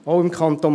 Auch im Kanton